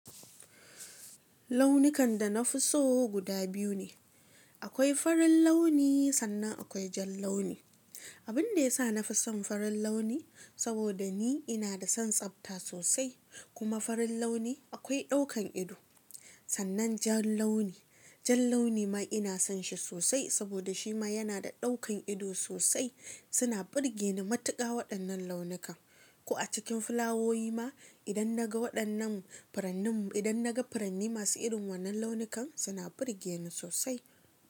Launikanda nafi so guda biyu ne. Akwai farin launi sannan akwai jan launi. Abinda yasa nafi son farin launi saboda ni ina da son tsafta sosai kuma farin launi akwai daukan ido. Sannan jan launi, jan launi ma ina son shi sosai saboda shi ma yana da daukan ido sosai. Suna burge ni matuka waɗannan launukan. Ko a cikin fulawowi ma idan naga waɗannan furannin, idan naga furanni masu irin wannan launukan suna burge ni sosai.